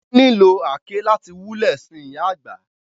Wón nìlò àáké láti wulè sin ìyà àgbà.